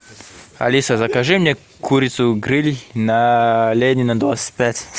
алиса закажи мне курицу гриль на ленина двадцать пять